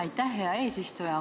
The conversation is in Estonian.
Aitäh, hea eesistuja!